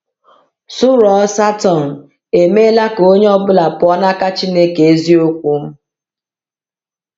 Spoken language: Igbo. Ṣụ̀rọ̀ Satọn emeela ka onye ọ bụla pụọ n’aka Chineke eziokwu?